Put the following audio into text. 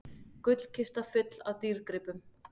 Gullkista full af dýrgripum